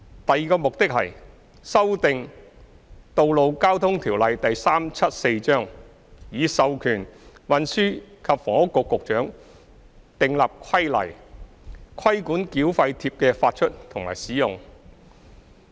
第二個目的，是修訂《道路交通條例》，以授權運輸及房屋局局長訂立規例，規管繳費貼的發出和使用。